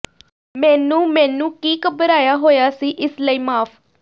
ਮੈਨੂੰ ਮੈਨੂੰ ਕੀ ਘਬਰਾਇਆ ਹੋਇਆ ਸੀ ਇਸ ਲਈ ਮਾਫ਼